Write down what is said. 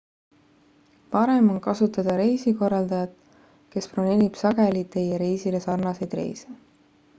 parem on kasutada resikorraldajat kes broneerib sageli teie reisile sarnaseid reise